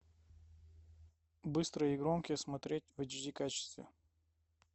быстрые и громкие смотреть в эйч ди качестве